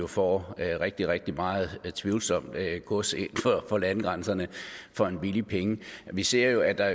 får rigtig rigtig meget tvivlsomt gods inden for landegrænserne for en billig penge vi ser jo at der